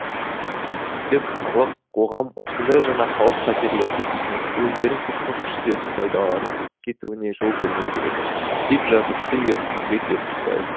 билік халық қоғам осындай жаңа қауіп қатерлерді түсініп өздерін сыртқы күштердің пайдаланып кетуіне жол бермеу керек деп жазыпты ермұхамет ертісбаев